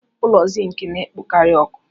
Ụlọ Zink na-ekpokarị ọkụ.